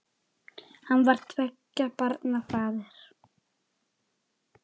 Hann var tveggja barna faðir.